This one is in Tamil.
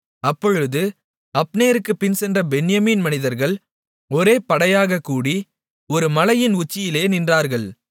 அப்பொழுது அப்னேருக்குப் பின்சென்ற பென்யமீன் மனிதர்கள் ஒரே படையாகக் கூடி ஒரு மலையின் உச்சியிலே நின்றார்கள்